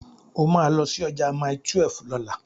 O máa lọ sí ọjà Mile12 lọ́la.